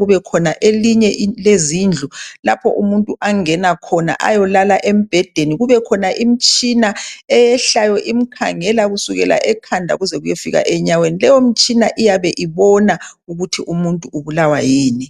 kube khona njalo elinye lezindlu lapho umuntu angena khona ayolala embhedeni kube khona imitshina eyehlayo imkhangela kusukela ekhanda kuze kuyefika enyaweni. Leyo mtshina iyabe ibona ukuthi umuntu ubulawa yini.